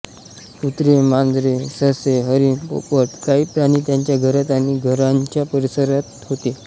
कुत्रे मांजरे ससे हरिण पोपट काही प्राणी त्यांच्या घरात आणि घराच्या परिसरात होते